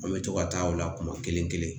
An bɛ to ka taa o la kuma kelen kelen